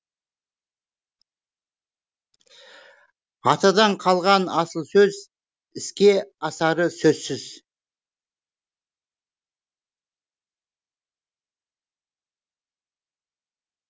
атадан қалған асыл сөз іске асары сөзсіз